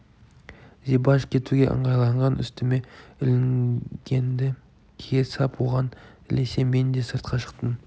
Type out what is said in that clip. зибаш кетуге ыңғайланған үстіме ілінгенді кие сап оған ілесе мен де сыртқа шықтым